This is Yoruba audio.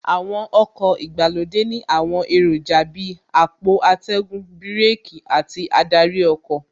Àwọn ọkọ̀ ìgbàlódé ní àwọn èròjà Bíi àpò atẹ́gùn, bíràkì àti adarí ọkọ̀